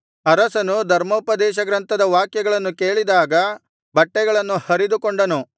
ಅರಸನು ಧರ್ಮೋಪದೇಶಗ್ರಂಥದ ವಾಕ್ಯಗಳನ್ನು ಕೇಳಿದಾಗ ಬಟ್ಟೆಗಳನ್ನು ಹರಿದುಕೊಂಡನು